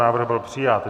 Návrh byl přijat.